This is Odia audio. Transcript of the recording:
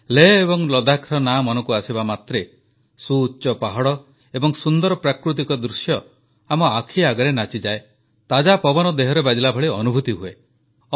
ଲେହ ଏବଂ ଲଦ୍ଦାଖର ନାଁ ମନକୁ ଆସିବାମାତ୍ରେ ସୁଉଚ୍ଚ ପାହାଡ଼ ଏବଂ ସୁନ୍ଦର ପ୍ରାକୃତିକ ଦୃଶ୍ୟ ଆମ ଆଖି ଆଗରେ ନାଚିଯାଏ ତାଜା ପବନ ଦେହରେ ବାଜିବାଭଳି ଅନୁଭୂତି ହୁଏ